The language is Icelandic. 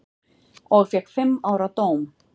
Og fékk fimm ára dóm.